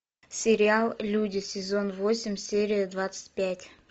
сериал люди сезон восемь серия двадцать пять